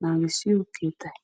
naagissiyo keettay?